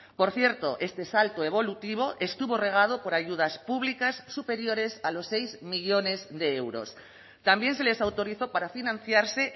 por cierto este salto evolutivo estuvo regado por ayudas públicas superiores a los seis millónes de euros también se les autorizó para financiarse